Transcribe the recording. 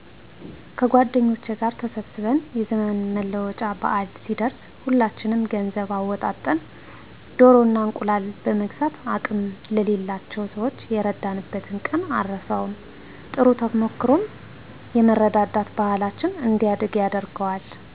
ከጎደኞቸ ጋር ተሰብስበን የዘመን መለወጫ በአል ሲደረስ ሁላችንም ገንዘብ አወጣጠን ደኖ እና እንቁላል በመግዛት አቅም ለሌላቸው ሰዋች የረዳንበትን ቀን አረሳውም። ጥሩ ተሞክሮውም የመረዳዳት ባሕላችን እንዲያድግ ያደርገዋል።